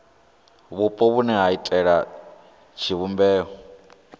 vhupo vhune ha iitela tshivhumbeo